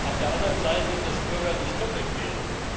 auf der anderen Seite, dass Bürger nicht doppelt wählen.